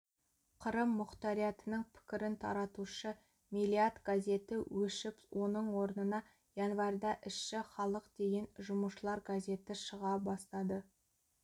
қырым мұқтариатының пікірін таратушы мелиат газеті өшіп оның орнына январьда ісші халық деген жұмысшылар газеті шыға бастады